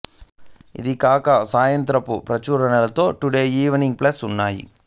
ఇవి కాక సాయంత్రపు ప్రచురణలలో టుడే ఈవినింగ్ ప్లస్ ఉన్నాయి